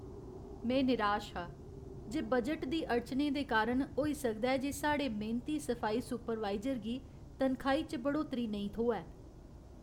में निराश हा जे बजट दी अड़चनें दे कारण होई सकदा ऐ जे साढ़े मेह्नती सफाई सुपरवाइजर गी तनखाही च बढ़ोतरी नेईं थ्होऐ।